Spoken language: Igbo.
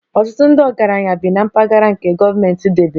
Ọtụtụ ndị ọgaranya bi na mpaghara nke gọọmentị debere